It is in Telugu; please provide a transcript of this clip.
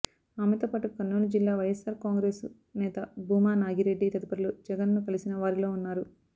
ఆమెతో పాటు కర్నూలు జిల్లా వైయస్సార్ కాంగ్రెసు నేత భూమా నాగిరెడ్డి తదితరులు జగన్ను కలిసిన వారిలో ఉన్నారు